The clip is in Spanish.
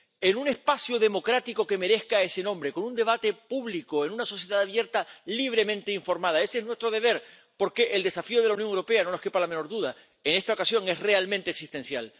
En un espacio democrático que merezca ese nombre, con un debate público en una sociedad abierta y libremente informada. Ese es nuestro deber, porque el desafío de la Unión Europea, no les quepa la menor duda, en esta ocasión es realmente existencial.